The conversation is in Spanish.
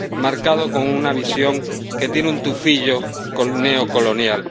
marcado con una visión que tiene un tufillo neocolonial.